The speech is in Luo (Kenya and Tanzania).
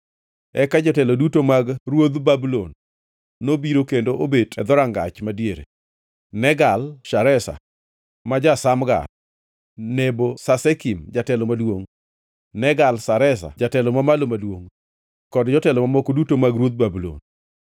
Eka jotelo duto mag ruodh Babulon nobiro kendo obet e Dhorangach Madiere: Negal-Shareza ma ja-Samgar, Nebo-Sasekim jatelo maduongʼ, Negal-Shareza jatelo mamalo maduongʼ kod jotelo mamoko duto mag ruodh Babulon.